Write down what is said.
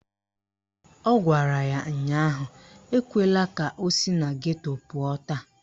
Ọ gwara ya ụnyaahụ "Ekwela ka o si na geto pụọ taa"!